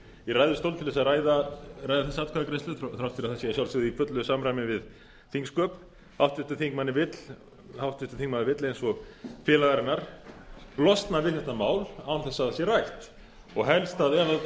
í ræðustól til að ræða þessa atkvæðagreiðslu þrátt fyrir að það sé að sjálfsögðu í fullu samræmi við þingsköp háttvirtur þingmaður vill eins og félagar hennar losna við þetta mál án þess að það sé rætt og helst ef um